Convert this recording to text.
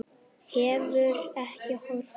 Hefur ekki horfið.